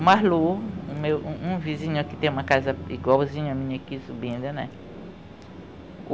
Marlu, o meu um um vizinho aqui, tem uma casa igualzinha a minha aqui subindo, né?